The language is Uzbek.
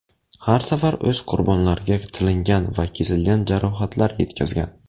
Har safar o‘z qurbonlariga tilingan va kesilgan jarohatlar yetkazgan.